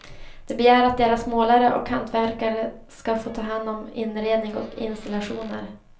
De begär att deras målare och hantverkare ska få ta hand om inredning och installationer.